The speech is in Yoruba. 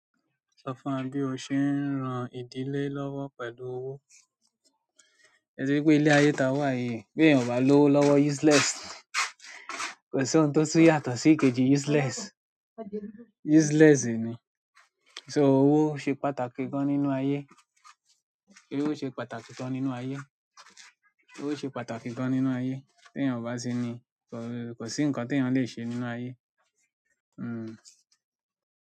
Sọ fún wa bí o ṣe ń ran ìdílé lọ́wọ́ pẹ̀lú owó. Ẹ̀ ti ri pé ilé ayé tí a wà yìí, bí èèyàn ò bá lọ́wọ́ lọ́wọ́ useless, kò sí ohun tó tún yàtọ̀ sí ìkejì useless. Useless ni, so owó ṣe pàtàkì gán nínú ayé owó ṣe pàtàkì gan nínú ayé? Owó ṣe pàtàkì gan nínú ayé? Tí èèyàn ò bá ṣe ni, kò sí nǹkan tí èèyàn le ṣe nínú ayé. Hmm.